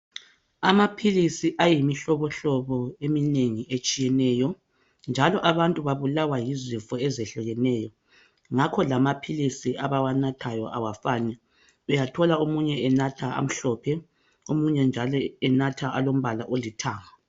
Amaphilisi ayimihlobohlobo eminengi etshiyeneyo. Njalo abantu babulawa yizifo ezehlukeneyo. Ngakho lamaphilisi abawanathayo awafani . Uyathola omunye enatha amhlophe omunye njalo enatha alombala olithanga .